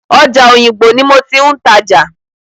Ọjà Òyìngbò ní mo ti ń tajà.